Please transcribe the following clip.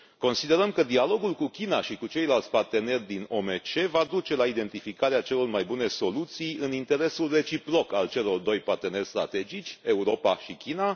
Considerăm că dialogul cu China și cu ceilalți parteneri din OMC va duce la identificarea celor mai bune soluții în interesul reciproc al celor doi parteneri strategici, Europa și China.